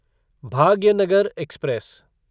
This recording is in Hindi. भाग्यनगर एक्सप्रेस